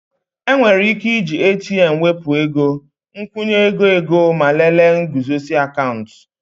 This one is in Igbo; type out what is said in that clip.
Enwere ike iji ATM wepụ ego, nkwụnye ego ego ma lelee nguzozi akaụntụ